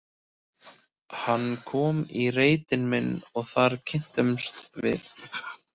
Hann kom í reitinn minn og þar kynntumst við.